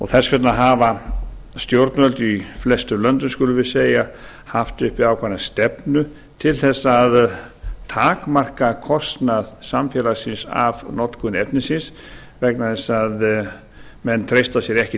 þess vegna hafa stjórnvöld í flestum löndum skulum við segja haft uppi ákveðna stefnu til þess að takmarka kostnað samfélagsins af notkun efnisins vegna þess að menn treysta sér ekki